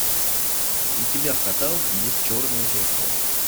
у тебя в каталоге есть черное зеркало